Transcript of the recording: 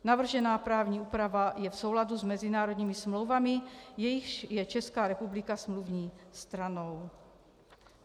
Navržená právní úprava je v souladu s mezinárodními smlouvami, jichž je Česká republika smluvní stranou.